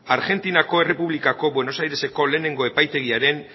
argentinako errepublikako buenos aireseko lehenengo epaitegiaren